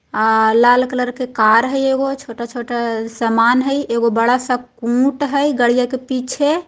अ लाल कलर के कार है आक अ छोटा छोटा समान है एक अ बड़ा सा कुंद है गािडीया के पीछे।